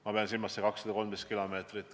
Ma pean silmas seda 213 kilomeetrit.